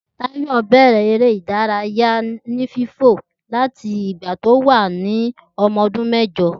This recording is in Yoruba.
Tayo bẹrẹ ereé ìdárayá oní fífò láti igba to wa ní ọmọ ọdún mẹ́jọ